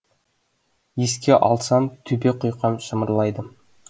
еске алсам төбе құйқам шымырлайды